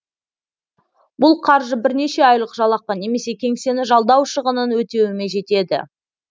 бұл қаржы бірнеше айлық жалақы немесе кеңсені жалдау шығынын өтеуіме жетеді